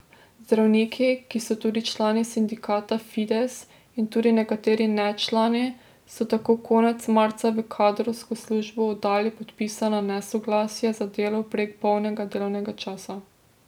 Zdravniki, ki so tudi člani sindikata Fides, in tudi nekateri nečlani so tako konec marca v kadrovsko službo oddali podpisana nesoglasja za delo prek polnega delovnega časa.